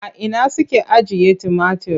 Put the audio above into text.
A ina suke ajiye tumatir?